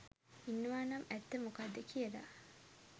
ඉන්නවනම් ඇත්ත මොකක්ද කියලා